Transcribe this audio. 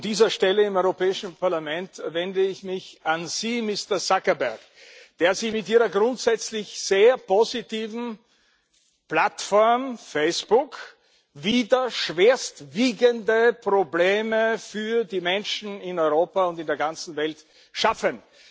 Von dieser Stelle im Europäischen Parlament wende ich mich an Sie, Mister Zuckerberg, der Sie mit Ihrer grundsätzlich sehr positiven Plattform Facebook wieder schwerwiegendste Probleme für die Menschen in Europa und in der ganzen Welt schaffen.